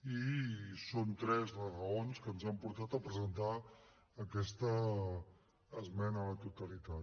i són tres les raons que ens han portat a presentar aquesta esmena a la totalitat